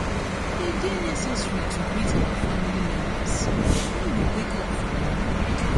e de necessary to greet our family members when we wake up for morning